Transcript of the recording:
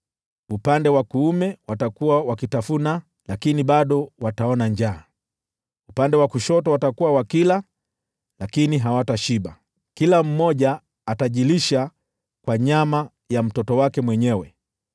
Upande wa kuume watakuwa wakitafuna, lakini bado wataona njaa; upande wa kushoto watakuwa wakila, lakini hawatashiba. Kila mmoja atajilisha kwa nyama ya mtoto wake mwenyewe: